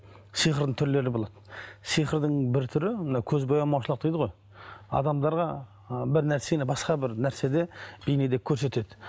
сиқырдың түрлері болады сиқырдың бір түрі мынау көз боямаушылық дейді ғой адамдарға ы бір нәрсені басқа бір нәрседе бейнеде көрсетеді